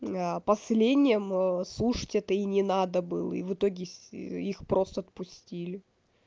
последним слушать это и не надо было и в итоге их просто отпустили